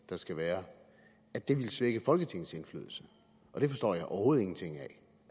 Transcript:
der skal være ville svække folketingets indflydelse det forstår jeg overhovedet ingenting af